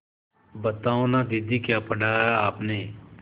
बताओ न दीदी क्या पढ़ा है आपने